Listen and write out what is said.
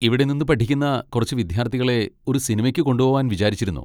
ഇവിടെ നിന്ന് പഠിക്കുന്ന കുറച്ച് വിദ്യാർത്ഥികളെ ഒരു സിനിമയ്ക്ക് കൊണ്ടുപോവാൻ വിചാരിച്ചിരുന്നു.